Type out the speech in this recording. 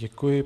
Děkuji.